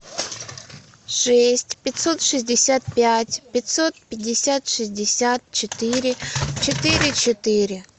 шесть пятьсот шестьдесят пять пятьсот пятьдесят шестьдесят четыре четыре четыре